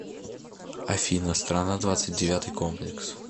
афина страна двадцать девятый комплекс